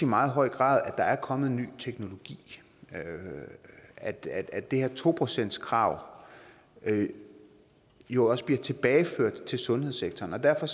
meget høj grad at der er kommet en ny teknologi at det at det her to procentskrav jo også bliver tilbageført til sundhedssektoren og derfor